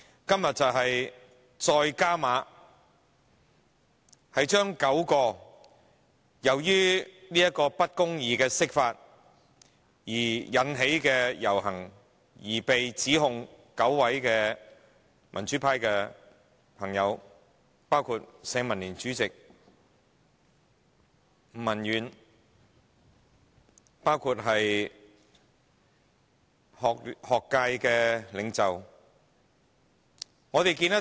今天，梁振英政府再進一步，控告9位因抗議不公義釋法而參加遊行的民主派朋友，包括社會民主連線主席吳文遠及一些學界領袖等。